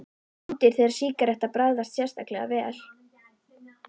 Stundir, þegar sígaretta bragðast sérstaklega vel.